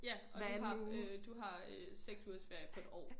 Ja og du har øh du har øh 6 ugers ferie på et år